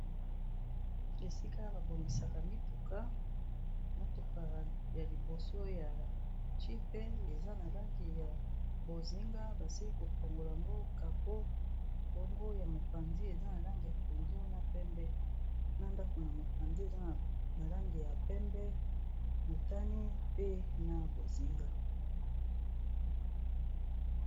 Esika ba bongisaka mituka, motuka ya liboso ya jeep eza na langi ya bonzinga basili kofongola ngo kapo bongo ya mopanzi eza na langi ya pondu na pembe na ndaku na mopanzi eza na langi ya pembe, motane pe na bonzinga.